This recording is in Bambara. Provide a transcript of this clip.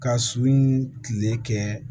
Ka su ni tile kɛ